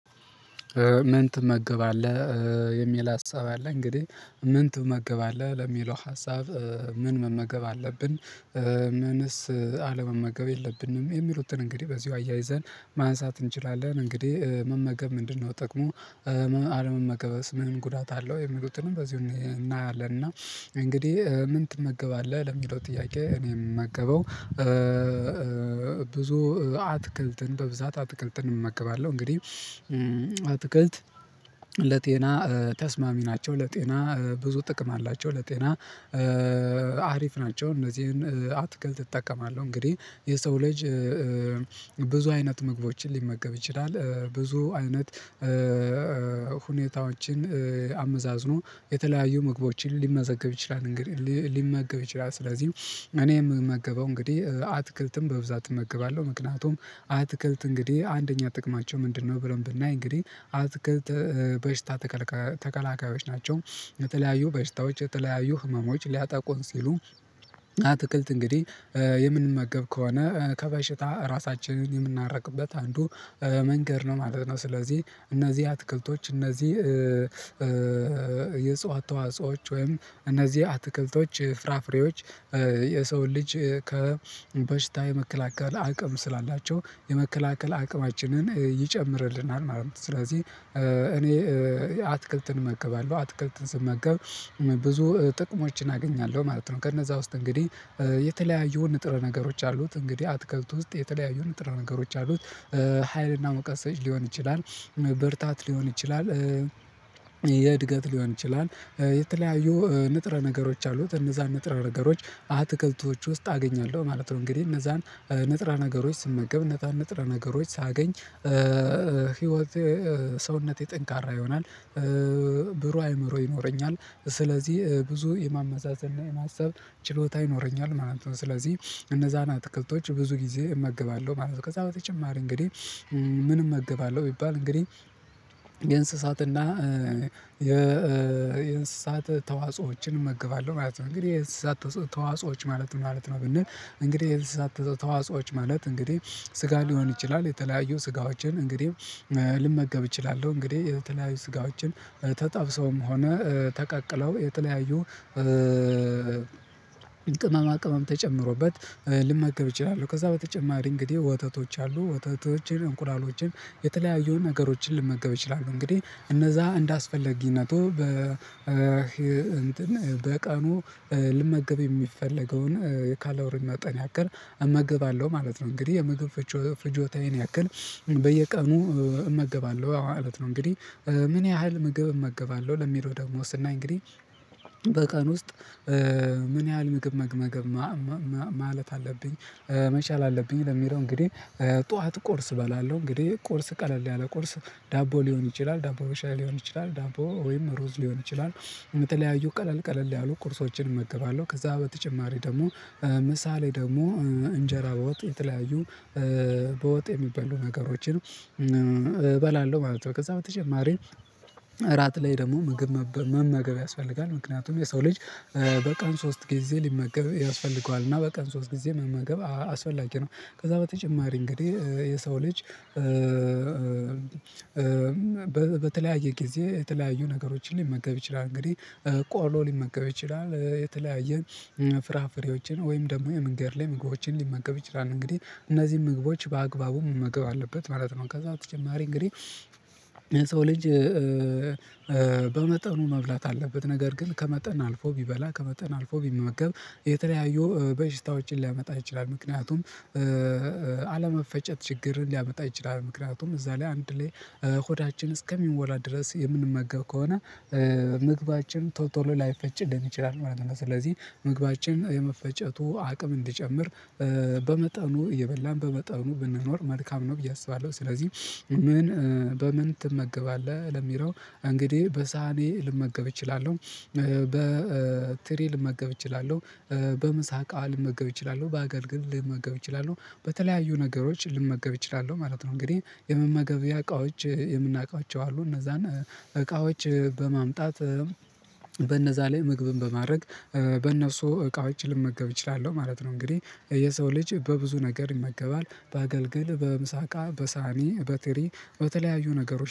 ምን ትመገባለህ? የሚል ሀሳብ አለ እንግዲህ ምን ትመገባለህ ለሚለው ሀሳብ ምን መመገብ አለብን። ምንስ አለመመገብ የለብንም የሚሉትን እንግዲህ በዚሁ አያይዘን ማንሳት እንችላለን እንግዲህ መመገብ ምንድነው ጥቅሙ? አለመመገብስ ምን ጉዳት አለው የሚሉትንም በዚህ እናያለን። እና እንግዲህ ምን ትመገባለህ ለሚለው ጥያቄ እኔ እምመገበው ብዙ አትክልትን በብዛት አትክልትን እመግባለሁ እንግዲህ አትክልት ለጤና ተስማሚ ናቸው። ለጤና ብዙ ጥቅም አላቸው ለጤና አሪፍ ናቸው። እነዚህን አትክልት እጠቀማለሁ እንግዲህ የሰው ልጅ ብዙ አይነት ምግቦችን ሊመገብ ይችላል ብዙ አይነት ሁኔታዎችን አመዛዝኖ የተለያዩ ምግቦችን ሊመገብ ይችላል። እንግዲህ ሊመገብ ይችላል ስለዚህ እኔ የምመገበው እንግዲህ አትክልትም በብዛት እመግባለሁ። ምክንያቱም አትክልት እንግዲህ አንደኛ ጥቅማቸው ምንድነው ብለን ብናይ እንግዲህ አትክልት በሽታ ተከላካዮች ናቸው። የተለያዩ በሽታዎች የተለያዩ ህመሞች ሊያጠቁን ሲሉ አትክልት እንግዲህ የምንመገብ ከሆነ ከበሽታ ራሳችንን የምርቅበት አንዱ መንገድ ነው ማለት ነው። ስለዚህ እነዚህ አትክልቶች እነዚህ የእጽዋት ተዋጽኦወች ወይም እነዚህ አትክልቶች ፍራፍሬዎች የሰውን ልጅ ከበሽታ የመከላከል አቅም ስላላቸው የመከላከል አቅማችንን ይጨምርልናል ማለት ነው። ስለዚህ እኔ አትክልትን እመገባለሁ አትክልትን ስመገብ ብዙ ጥቅሞችን አገኛለሁ ማለት ነው። ከነዛ ውስጥ እንግዲህ የተለያዩ ንጥረ ነገሮች አሉት እንግዲህ አትክልት ውስጥ የተለያዩ ንጥረ ነገሮች አሉት ሀይል እና ሙቀት ሰጪ ሊሆን ይችላል። ብርታት ሊሆን ይችላል። የእድገት ሊሆን ይችላል የተለያዩ ንጥረ ነገሮች አሉት እነዛን ንጥረ ነገሮች አትክልቶች ውስጥ አገኛለሁ ማለት ነው። እንግዲህ እነዛን ንጥረ ነገሮች ስመገብ እነዛን ንጥረ ነገሮች ሳገኝ ህይወቴ ሰውነቴ ጠንካራ ይሆናል። ብሩህ አእምሮ ይኖረኛል ስለዚህ ብዙ የማመዛዘን የማሰብ ችሎታ ይኖረኛል ማለት ነው። ስለዚህ እነዛን አትክልቶች ብዙ ጊዜ እመገባለሁ ማለት ነው። ከዛ በተጨማሪ እንግዲህ ምን እመገባለሁ ቢባል እንግዲህ የእንስሳትና የእንስሳት ተዋጽኦዎችን እመገባለሁ ማለት ነው። እንግዲህ የእንስሳት ተዋጽኦዎች ማለት ነው ማለት ነው ብንል እንግዲህ የእንስሳት ተዋጾኦዎች ማለት እንግዲህ ስጋ ሊሆን ይችላል የተለያዩ ስጋዎችን እንግዲህ ልመገብ እችላለሁ እንግዲህ የተለያዩ ስጋዎችን ተጠብሰውም ሆነ ተቀቅለው የተለያዩ ቅመም ተጨምሮበት ልመገብ እችላለሁ። ከዛ በተጨማሪ እንግዲህ ወተቶች አሉ ወተቶችን እንቁላሎችን የተለያዩ ነገሮችን ልመገብ እችላሉ እንግዲህ እነዛ እንዳስፈለጊነቱ በ እንትን በቀኑ ልመገብ የሚፈለገውን ካሎሪ መጠን ያክል እመገባለሁ ማለት ነው። እንግዲህ የምግብ ፍጆታዬን ያክል በየቀኑ እመገባለሁ ማለት ነው። እንግዲህ ምን ያህል ምግብ እመገባለሁ ለሚለው ደግሞ ስናይ እንግዲህ በቀን ውስጥ ምን ያህል ምግብ መመገብ ማለት አለብኝ መቻል አለብኝ። ለሚለው እንግዲህ ጠዋት ቁርስ እባላለሁ እንግዲህ ቁርስ ቀለል ያለ ቁርስ ዳቦ ሊሆን ይችላል ዳቦ በሻይ ሊሆን ይችላል ዳቦ ወይም ሩዝ ሊሆን ይችላል የተለያዩ ቀለል ቀለል ያሉ ቁርሶችን እመገባለሁ። ከዛ በተጨማሪ ደግሞ ምሳ ላይ ደግሞ እንጀራ በወጥ የተለያዩ በወጥ የሚበሉ ነገሮችን እበላለሁ ማለት ነው። ከዛ በተጨማሪ እራት ላይ ደግሞ ምግብ መመገብ ያስፈልጋል ምክንያቱም የሰው ልጅ በቀን ሶስት ጊዜ ሊመገብ ያስፈልገዋል እና በቀን ሶስት ጊዜ መመገብ አስፈላጊ ነው። ከዛ በተጨማሪ እንግዲህ የሰው ልጅ በተለያየ ጊዜ የተለያዩ ነገሮችን ሊመገብ ይችላል እንግዲህ ቆሎ ሊመገብ ይችላል። የተለያየ ፍራፍሬዎችን ወይም ደግሞ የመንገድ ላይ ምግቦችን ሊመገብ ይችላል። እንግዲህ እነዚህን ምግቦች በአግባቡ መመገብ አለበት ማለት ነው። ከዛ በተጨማሪ እንግዲህ የሰው ልጅ በመጠኑ መብላት አለበት ነገር ግን ከመጠን አልፎ ቢበላ ከመጠን አልፎ ቢመገብ የተለያዩ በሽታዎችን ሊያመጣ ይችላል። ምክንያቱም አለመፈጨት ችግርን ሊያመጣ ይችላል ምክንያቱም እዛ ላይ አንድ ላይ ሆዳችን እስከሚሞላ ድረስ የምንመገብ ከሆነ ምግባችን ቶቶሎ ላይፈጭልን ይችላል ማለት ነው። ስለዚህ ምግባችን የመፈጨቱ አቅም እንድጨምር በመጠኑ እየበላን በመጠኑ ብንኖር መልካም ነው ብዬ አስባለሁ። ስለዚህ ምን በምን ትመገባለህ ለሚለው እንግዲህ በሳህኔ ልመገብ እችላለሁ። በትሪ ልመገብ እችላለሁ። በምሳ እቃ ልመገብ እችላለሁ በአገልግል ልመገብ እችላለሁ በተለያዩ ነገሮች ልመገብ እችላለሁ ማለት ነው። እንግዲህ የመመገቢያ እቃዎች የምናውቃቸው አሉ እነዛን እቃዎች በማምጣት በነዛ ላይ ምግብን በማድረግ በእነሱ እቃዎች ልመገብ እችላለሁ ማለት ነው። እንግዲህ የሰው ልጅ በብዙ ነገር ይመገባል በአገልግል በምሳ እቃ በሳህኒ በትሪ በተለያዩ ነገሮች